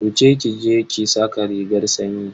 Wuce ki je ki saka rigar sanyi.